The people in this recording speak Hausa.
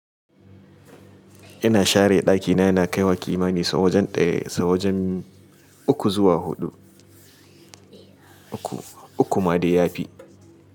Ina share ɗakina, ina kaiwa kimani sau wajen ɗaya sau wajen uku zuwa huɗu uku uku ma dai yafi.